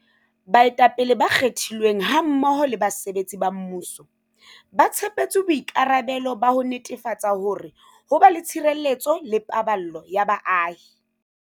Baetapele ba kgethilweng hammoho le basebetsi ba mmuso, ba tshepetswe boikarabelo ba ho netefatsa hore ho ba le tshireletso le paballo ya baahi.